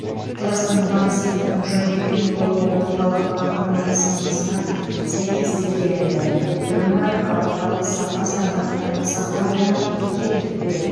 қазақстанның банк секторының жай күйі еуропа орталық банкінің әдіснамасына сәйкес зерделенді ол бірыңғай халықаралық сапа стандарттарының сақталуына кепілдік береді